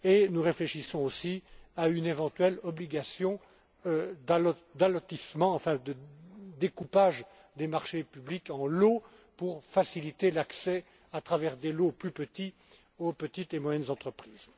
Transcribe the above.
marché. Nous réfléchissons aussi à une éventuelle obligation d'allotissement, à savoir de découpage des marchés publics en lots pour faciliter l'accès, à travers des lots plus petits, aux petites et moyennes entreprises.